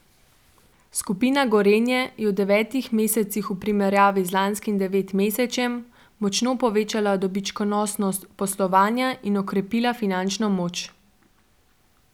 Skupina Gorenje je v devetih mesecih v primerjavi z lanskim devetmesečjem močno povečala dobičkonosnost poslovanja in okrepila finančno moč.